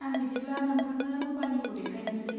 आं बिदिब्ला नोंथांनो रुफानिखौ देखायनोसै।